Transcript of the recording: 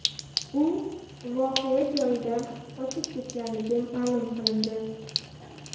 U voqea joyidan qochib ketganligi ma’lum qilindi.